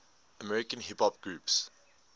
american hip hop groups